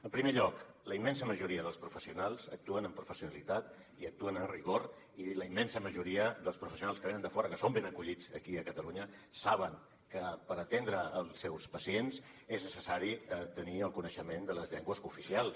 en primer lloc la immensa majoria dels professionals actuen amb professionalitat i actuen amb rigor i la immensa majoria dels professionals que venen de fora que són ben acollits aquí a catalunya saben que per atendre els seus pacients és necessari tenir el coneixement de les llengües cooficials